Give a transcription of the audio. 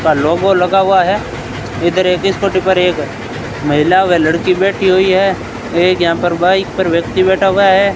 का लोगो लगा हुआ है इधर एक स्कूटी पर एक महिला व लड़की बैठी हुई है एक यहां पर बाइक पर व्यक्ति बैठा हुआ है।